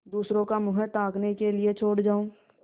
दूसरों का मुँह ताकने के लिए छोड़ जाऊँ